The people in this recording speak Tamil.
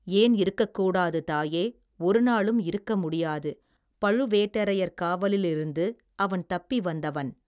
ஏன் இருக்கக் கூடாது தாயே ஒருநாளும் இருக்கமுடியாது பழுவேட்டரையர் காவலிலிருந்து அவன் தப்பி வந்தவன்.